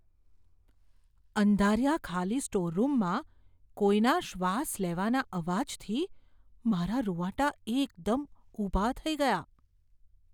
અંધારિયા ખાલી સ્ટોર રૂમમાં કોઈના શ્વાસ લેવાના અવાજથી મારાં રૂંવાટા એકદમ ઊભા થઈ ગયાં.